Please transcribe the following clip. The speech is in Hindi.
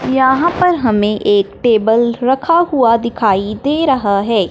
यहां पर हमें एक टेबल रखा हुआ दिखाई दे रहा है।